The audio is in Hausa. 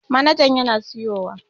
Manajan yana siyowa